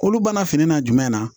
Kolo bana fini na jumɛn na